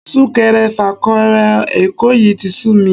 Sún-kẹrẹ-fà-kẹrẹ Èkó yìí tí sú mi